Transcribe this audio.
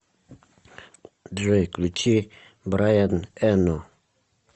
джой включи брайан эно